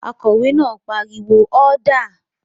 Akòwé náà pariwo "ọ́dà!"